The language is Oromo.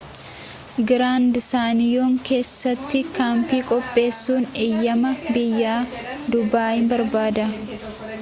grand canyon keessatti kampii qopheessun eeyyamaa biyya-duubaanii barbaada